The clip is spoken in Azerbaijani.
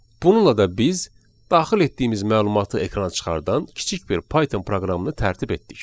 Bununla da biz daxil etdiyimiz məlumatı ekrana çıxardan kiçik bir Python proqramını tərtib etdik.